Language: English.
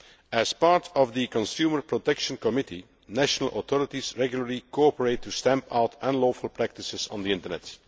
As part of the consumer protection committee, national authorities regularly cooperate to stamp out unlawful practices on the Internet.